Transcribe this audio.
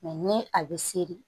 ni a bɛ seri